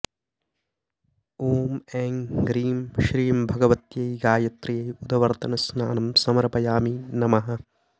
ॐ ऐं ह्रीं श्रीं भगवत्यै गायत्र्यै उद्ववर्त्तनस्नानं समर्पयामि नमः